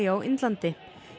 á Indlandi